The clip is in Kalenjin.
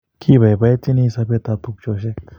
Kibaibaitynchini sobet ab tupcheshek